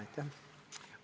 Aitäh!